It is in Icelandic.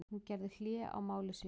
Hún gerði hlé á máli sínu.